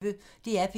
DR P1